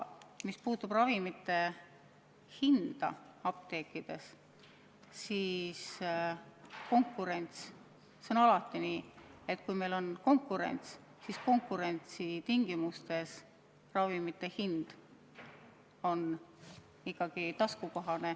Mis puutub ravimite hinda apteekides, siis see on alati nii, et konkurentsi tingimustes ravimite hind on ikkagi taskukohane.